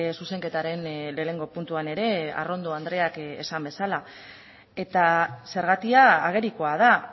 zuzenketaren lehenengo puntuan ere arrondo andreak esan duen bezala eta zergatia agerikoa da